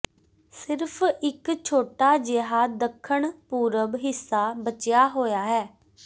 ਸਿਰਫ਼ ਇਕ ਛੋਟਾ ਜਿਹਾ ਦੱਖਣ ਪੂਰਬ ਹਿੱਸਾ ਬਚਿਆ ਹੋਇਆ ਹੈ